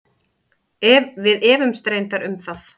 Við efumst reyndar um það.